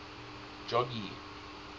jogee